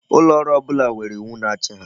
Ulooru ọbụla nwere iwu na-achị ha.